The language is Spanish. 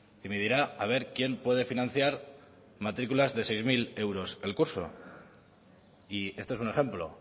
me dirá quién puede financiar matriculas de seis mil euros el curso y este es un ejemplo